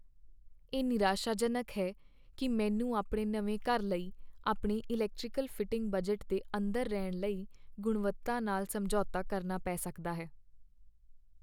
ਇਹ ਨਿਰਾਸ਼ਾਜਨਕ ਹੈ ਕਿ ਮੈਨੂੰ ਆਪਣੇ ਨਵੇਂ ਘਰ ਲਈ ਆਪਣੇ ਇਲੈਕਟ੍ਰੀਕਲ ਫਿਟਿੰਗ ਬਜਟ ਦੇ ਅੰਦਰ ਰਹਿਣ ਲਈ ਗੁਣਵੱਤਾ ਨਾਲ ਸਮਝੌਤਾ ਕਰਨਾ ਪੈ ਸਕਦਾ ਹੈ।